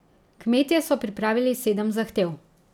Kmetje so pripravili sedem zahtev.